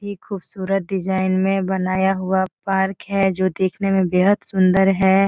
ये खूबसूरत डिज़ाइन में बनाया हुआ पार्क है जो देखने में बेहद सुन्दर है।